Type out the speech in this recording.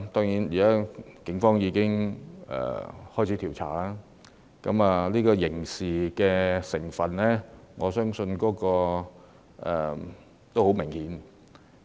現時警方已展開調查，我相信刑事成分已相當明顯。